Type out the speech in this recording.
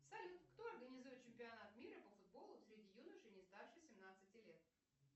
салют кто организует чемпионат мира по футболу среди юношей не старше семнадцати лет